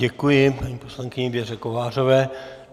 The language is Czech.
Děkuji paní poslankyně Věře Kovářové.